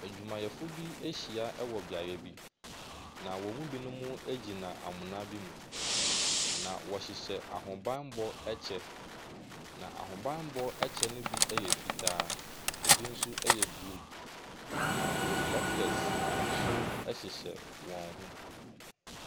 Adwumayɛfoɔ bi ahyia wɔ beaeɛ bi, na wɔn mu binom guna amena bi mu, na wɔhyehyɛ ahobammɔ kyɛ, na ahobammɔ kyɛ no bi yɔ fitaa, ɛbi nso yɛ blue, na reflectors nso hyehyɛ wɔn ho.